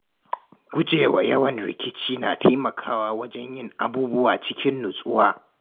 Gujewa yawan rikicewa na taimakawa wajen yin abubuwa cikin nutsuwa.